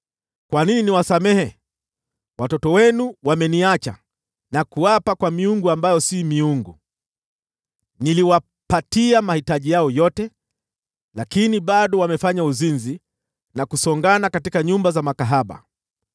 “Kwa nini niwasamehe? Watoto wenu wameniacha na kuapa kwa miungu ambayo si miungu. Niliwapatia mahitaji yao yote, lakini bado wamefanya uzinzi na kusongana katika nyumba za makahaba.